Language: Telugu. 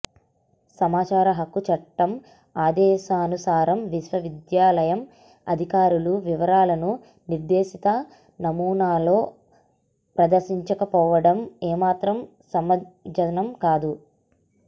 సమాచార హక్కు చట్టం ఆదేశానుసారం విశ్వవిద్యాలయం అధికారుల వివరాలను నిర్దేశిత నమూనాలో ప్రదర్శించకపోవడం ఏమాత్రం సమంజసం కాదు